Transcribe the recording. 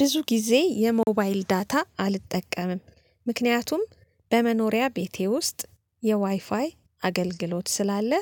ብዙ ጊዜ የሞባይል ዳታ አልጠቀምም፤ ምክንያቱም በመኖሪያ ቤቴ ውስጥ የዋይፋይ አገልግሎት ስላለ